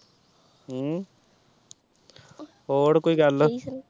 ਹਮ ਹੋਰ ਕੋਈ ਗੱਲ